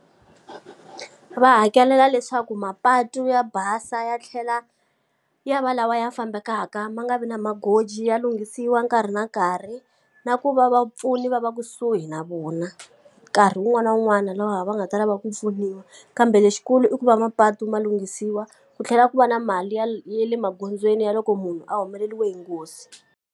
Va hakelela leswaku mapatu ya basa ya tlhela ya va lawa ya fambekaka ma nga vi na magoji ya lunghisiwa nkarhi na nkarhi. Na ku va vapfuni va va ku kusuhi na vona, nkarhi wun'wana na wun'wana lowu va nga ta lava ku pfuniwa. Kambe lexikulu i ku va mapatu ma lunghisiwa, ku tlhela ku va na mali ya ya le magondzweni ya loko munhu a humeleriwe hi nghozi.